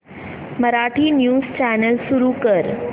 Marathi news channel सुरू कर